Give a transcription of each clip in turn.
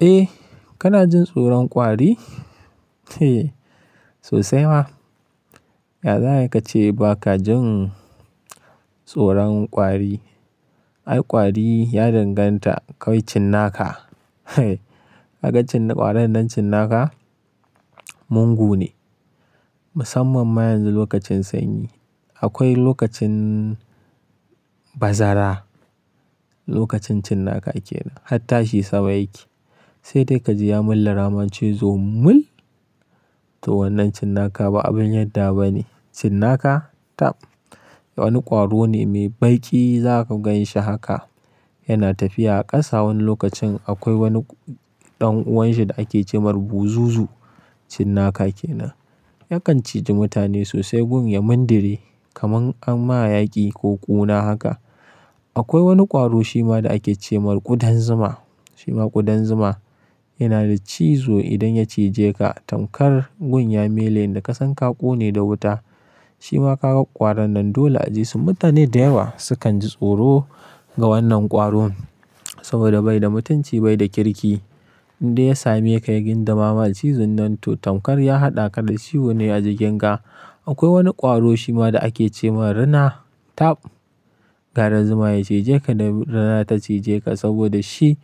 Eh, kana jin tsoron kwari? Sosai ma. Yanzu haka ce ba ka jin tsoron kwari. Ai kwari ya danganta kawai cinnaka. Hagaccin kwarin nan cinnaka mungu ne. Musamman ma yanzu lokacin sanyi. Akwai lokacin bazara, lokacin cinnaka kenan har ta she saba yake. Sai dai ka ji ya mulla cizo mul, to wannan cinnaka ba abin yarda bane. Cinnaka tab wani kwaro ne mai baƙi za ka gan shi haka. Yana tafiya a ƙasa wani lokacin akwai wani ɗan uwanshi da ake ce mar buzuzu cinnaka kenan. Yakan cije mutane sosai gun ya mindire kamar an ma yaƙi ko ƙuna haka. Akwai wani kwaro shi ma da ake ce mar kudan zuma. Shi ma kudan zuma yana da cizo idan ya cije ka, tankar gun ya mele in ka san ka ƙone da wuta. Shi ma ka ga kwaran nan dole a ji su mutane da yawa su kan ji tsoro ga wannan kwaro. Saboda bai da mutunci bai da kirki. Inda ya sami ya kayi gindama ma cizon nan to tankar ya haɗa ka da ciwo ne a jikin ka. Akwai wani kwaro shi ma da ake ce mar rina tab. Gara zuma ya cije ka da rina ta cije ka saboda shi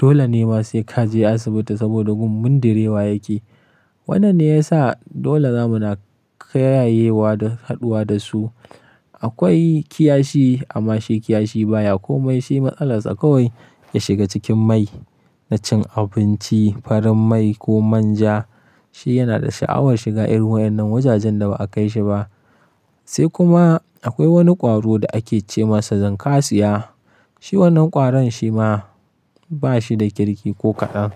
dole ne ma sai ka je asibiti saboda gun mundirewa yake. Wannan ne ya sa dole zamuna kayayewa da haduwa da su. Akwai kiyashi amma shi kiyashi baya komai. Shi matsalar sa kawai ya shiga cikin mai na cin abinci farin mai ko manja. Shi yana da sha'awar shiga irin wa'annan wajajen da ba a kai shi ba. Sai kuma akwai wani kwaro da ake ce masa zankasiya. Shi wannan kwaron shi ma ba shi da kirki ko kaɗan.